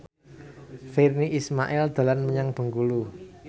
Virnie Ismail dolan menyang Bengkulu